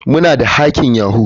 Muna da hacking yahoo.